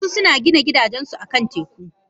Wasu suna gina gidajensu akan teku.